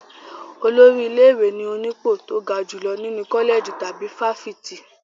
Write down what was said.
Olórí ilé-ìwé ni onípò tó ga jùlọ nínú kọ́lẹ̀jì tàbí fáfitì.